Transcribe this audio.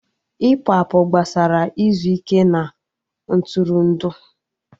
Ịpụ apụ gbasara izu ike na Ntụrụndụ